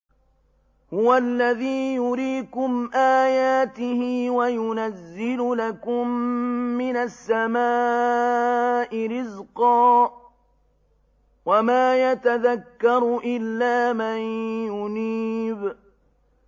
هُوَ الَّذِي يُرِيكُمْ آيَاتِهِ وَيُنَزِّلُ لَكُم مِّنَ السَّمَاءِ رِزْقًا ۚ وَمَا يَتَذَكَّرُ إِلَّا مَن يُنِيبُ